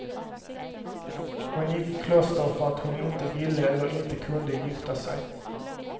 Hon gick i kloster för att hon inte ville eller inte kunde gifta sig.